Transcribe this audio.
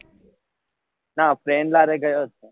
નાં friends સાથે ગયો હતો